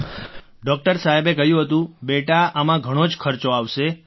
Rajesh Prajapati doctor સાહેબે કહ્યું હતું બેટા આમાં ઘણો જ ખર્ચો આવશે